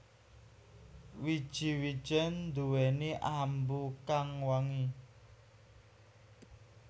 Wiji wijèn nduwèni ambu kang wangi